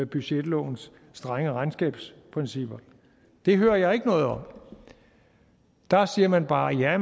budgetlovens strenge regnskabsprincipper det hører jeg ikke noget om der siger man bare at ja